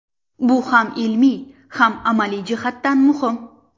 Bu ham ilmiy, ham amaliy jihatdan muhim.